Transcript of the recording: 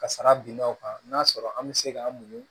Ka sara bina o kan n'a sɔrɔ an bi se k'an muɲu